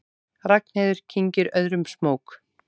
Ragnheiður kyngir öðrum smók.